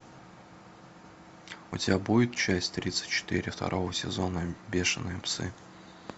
у тебя будет часть тридцать четыре второго сезона бешеные псы